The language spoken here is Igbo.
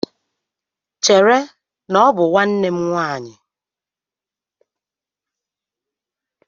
Chere, na ọ bụ nwanne nwaanyị!